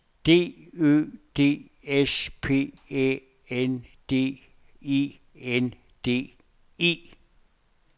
D Ø D S P Æ N D E N D E